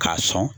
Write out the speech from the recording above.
K'a sɔn